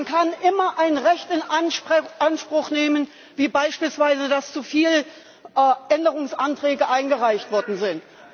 Man kann immer ein Recht in Anspruch nehmen wie beispielsweise, dass zu viele Änderungsanträge eingereicht worden sind.